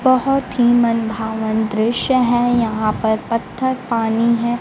बहोत ही मनभावन दृश्य है यहां पर पत्थर पानी है।